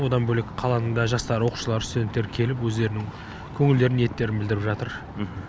одан бөлек қаланың да жастары оқушылар студенттер келіп өздерінің көңілдері ниеттерін білдіріп жатыр